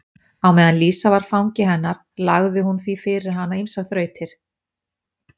Á meðan Lísa var fangi hennar lagði hún því fyrir hana ýmsar þrautir.